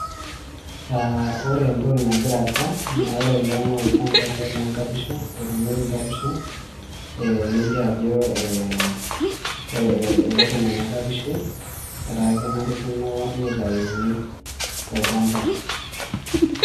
Aah ore entoki nagira aasa naa ore ele naa olchamba ele loo nkapishi otuunoki nkapishi ee nelio ajo ee kore eoto nena kapishi etaa kenarikino nitayuni tolchamba.